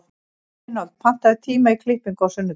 Reinhold, pantaðu tíma í klippingu á sunnudaginn.